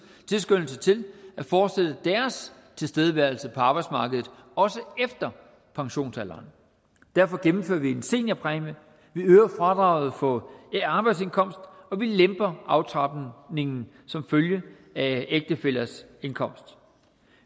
tilskyndelse til at fortsætte deres tilstedeværelse på arbejdsmarkedet også efter pensionsalderen derfor gennemfører vi en seniorpræmie og vi øger fradraget på arbejdsindkomst og vi lemper aftrapningen som følge af ægtefællers indkomst